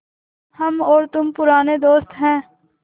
हम और तुम पुराने दोस्त हैं